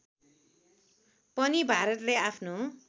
पनि भारतले आफ्नो